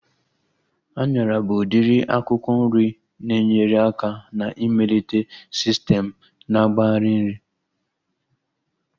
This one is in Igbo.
Anyara bụ udiri akwụkwọ nri na-enyere aka na-ịmelite sistem na-agbari nri